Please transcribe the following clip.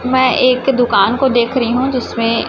मैं एक दुकान को देख रही हूं जिसमें--